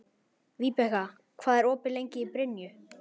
Vibeka, hvað er opið lengi í Brynju?